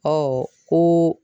ko